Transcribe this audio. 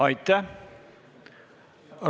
Aitäh!